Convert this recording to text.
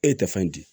E tɛ fɛn di